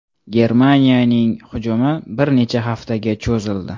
Germaniyaning hujumi bir necha haftaga cho‘zildi.